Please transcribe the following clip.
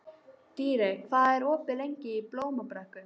Dýri, hvað er opið lengi í Blómabrekku?